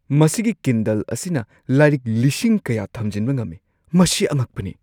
ꯃꯁꯤꯒꯤ ꯀꯤꯟꯗꯜ ꯑꯁꯤꯅ ꯂꯥꯏꯔꯤꯛ ꯂꯤꯁꯤꯡ ꯀꯌꯥ ꯊꯝꯖꯤꯟꯕ ꯉꯝꯃꯤ꯫ ꯃꯁꯤ ꯑꯉꯛꯄꯅꯤ!